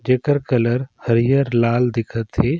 जेकर कलर हरियर लाल दिखत हे।